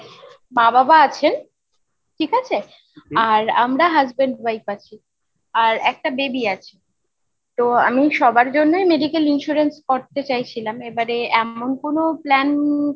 মা বাবা আছেন, ঠিক আছে? আর আমরা husband wife আছি, আর একটা baby আছে। তো আমি সবার জন্যই medical insurance করতে চাইছিলাম এবারে এমন কোনো plan